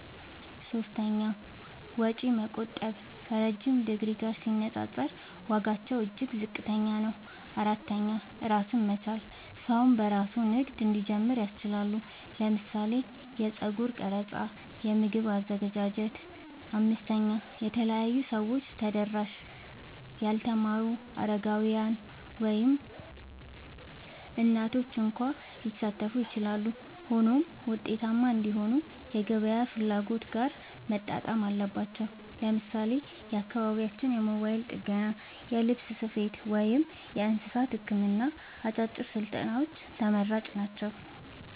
3. ወጪ መቆጠብ – ከረዥም ዲግሪ ጋር ሲነጻጸር ዋጋቸው እጅግ ዝቅተኛ ነው። 4. ራስን መቻል – ሰው በራሱ ንግድ እንዲጀምር ያስችላል (ለምሳሌ የጸጉር ቀረጻ፣ የምግብ አዘገጃጀት)። 5. ለተለያዩ ሰዎች ተደራሽ – ያልተማሩ፣ አረጋውያን፣ ወይም እናቶች እንኳ ሊሳተፉ ይችላሉ። ሆኖም ውጤታማ እንዲሆኑ ከገበያ ፍላጎት ጋር መጣጣም አለባቸው። ለምሳሌ በአካባቢያችን የሞባይል ጥገና፣ የልብስ ስፌት፣ ወይም የእንስሳት ሕክምና አጫጭር ስልጠናዎች ተመራጭ ናቸው።